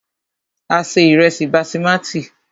A se ìrẹ́sí basimati.